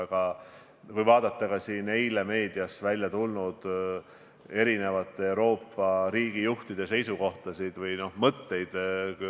Aga vaadakem eile meedias avaldatud Euroopa riigijuhtide seisukohtasid või mõtteid.